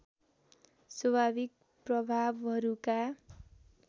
स्वाभाविक प्रभावहरूका